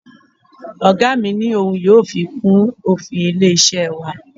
Oga mi ni ohun yóò fi kún òfin ilé-iṣẹ́ wa.